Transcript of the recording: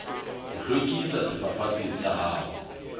ho hlwekisa sefafatsi sa hao